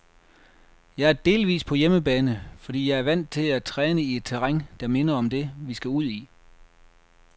Jeg er delvis på hjemmebane, fordi jeg er vant til at træne i et terræn, der minder om det, vi skal ud i.